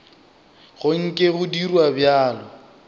go nke go dirwa bjalo